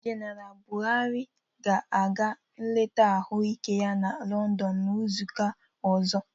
Jeneral Bụharị ga-aga nleta ahụ ike ya na Lọndọn n'ịzụka ọzọ